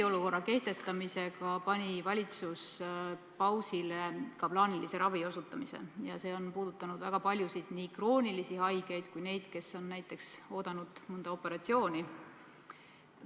Eriolukorra kehtestamisega pani valitsus pausile ka plaanilise ravi osutamise ja see on puudutanud väga paljusid nii kroonilisi haigeid kui ka neid, kes on näiteks oodanud mõnda operatsiooni.